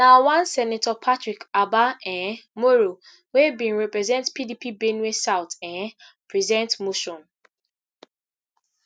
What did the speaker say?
na one senator patrick abba um moro wey bin represent pdp benue south um present motion